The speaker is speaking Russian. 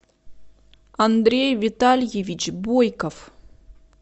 андрей витальевич бойков